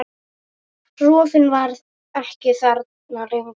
Rofinn var ekki þarna lengur.